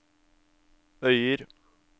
Øyer